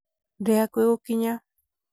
ndĩ hakũhĩ gũkinya